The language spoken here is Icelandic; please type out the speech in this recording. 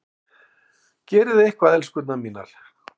Gerið eitthvað, elskurnar mínar!